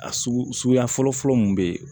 A sugu suguya fɔlɔ fɔlɔ mun be yen